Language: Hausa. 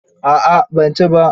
A'a ban ci ba.